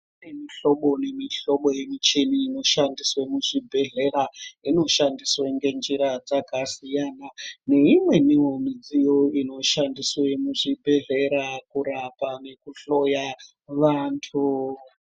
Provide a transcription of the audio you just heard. Kune mihlobo nemuhlobo yemichini inoshandiswe kuzvibhedhlera. Inoshandiswe ngenjira dzakasiyana, neimweniwo midziyo inoshandiswe muzvibhedhlera kurapa nekuhloya vantu.